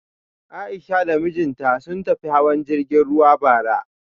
A'isha da mijinta sun tafi hawan jirgin ruwa bara